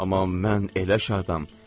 Amma mən elə şadam.